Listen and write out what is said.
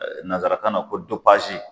Nanzara kan na ko